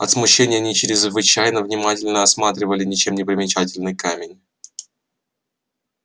от смущения они чрезвычайно внимательно осматривали ничем не примечательный камень